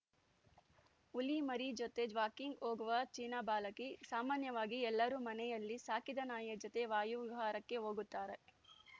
ಹುಲಿ ಮರಿ ಜೊತೆ ಜ್ವಾಕಿಂಗ್‌ ಹೋಗುವ ಚೀನಾ ಬಾಲಕಿ ಸಾಮಾನ್ಯವಾಗಿ ಎಲ್ಲರೂ ಮನೆಯಲ್ಲಿ ಸಾಕಿದ ನಾಯಿಯ ಜೊತೆ ವಾಯುವಿಹಾರಕ್ಕೆ ಹೋಗುತ್ತಾರೆ